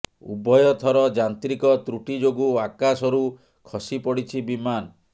ଉଭୟ ଥର ଯାନ୍ତ୍ରିକ ତ୍ରୁଟି ଯୋଗୁଁ ଆକାଶରୁ ଖସି ପଡ଼ିଛି ବିମାନ